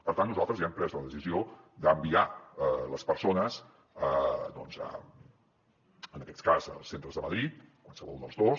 per tant nosaltres ja hem pres la decisió d’enviar les persones doncs en aquest cas als centres de madrid qualsevol dels dos